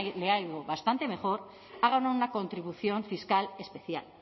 le ha ido bastante mejor hagan una contribución fiscal especial